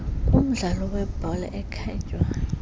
kumdlalo webhola ekhatywayo